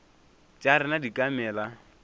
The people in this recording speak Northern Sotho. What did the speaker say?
tša rena di ka mela